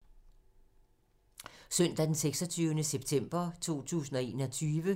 Søndag d. 26. september 2021